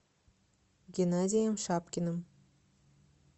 геннадием шапкиным